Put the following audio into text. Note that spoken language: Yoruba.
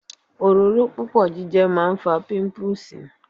Òróró púpọ̀ jíjẹ máa ń fa píńpúùsì.